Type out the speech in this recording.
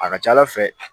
A ka ca ala fɛ